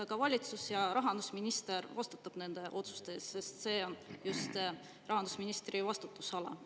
Aga valitsus ja rahandusminister vastutavad nende otsuste eest, sest see on just rahandusministri vastutusala.